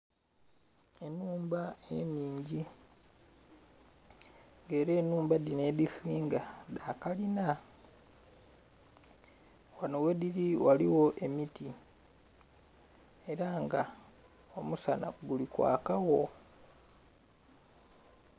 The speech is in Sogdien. Enhumba enhingi nga era enhumba dhinho edhisinga dhakalinha nga ghedhili ghaligho emiti era nga omusanha guli kwaka gho.